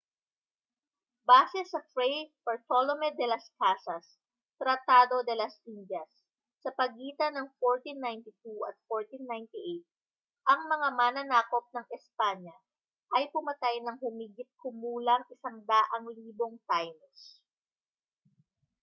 base sa fray bartolome de las casas tratado de las indias sa pagitan ng 1492 at 1498 ang mga mananakop ng espanya ay pumatay ng humigit-kumulang 100,000 taínos